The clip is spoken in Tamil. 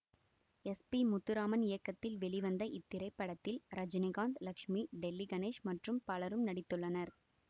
எஸ் பி முத்துராமன் இயக்கத்தில் வெளிவந்த இத்திரைப்படத்தில் ரஜினிகாந்த் லட்சுமி டெல்லி கணேஷ் மற்றும் பலரும் நடித்துள்ளனர்